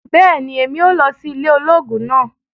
bẹẹni, Èmí óò lọ si ile ológun náà